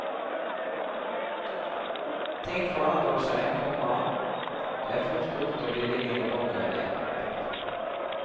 Ting forandrer seg, komma det er fort gjort å bli liggende i bakevjen. punktum